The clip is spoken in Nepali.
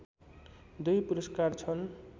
दुई पुरस्कार छन्